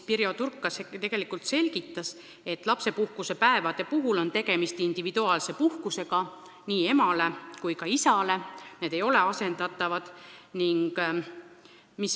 Pirjo Turk selgitas, et lapsepuhkuse päevade puhul on tegemist individuaalse puhkusega nii emale kui ka isale, need ei ole asendatavad.